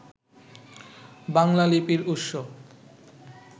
বাংলা লিপির উৎস